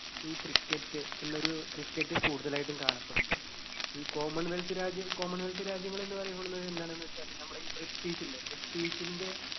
ഈ cricket എന്നൊരു cricket കൂടുതലായിട്ടും കാണപ്പെടുന്നത്. ഈ common wealth രാജ്യം common wealth രാജ്യങ്ങൾ എന്ന് പറയപ്പെടുന്നത് എന്താണെന്ന് വെച്ചാൽ നമ്മുടെ ഈ british ഇല്ലെ british ന്റെ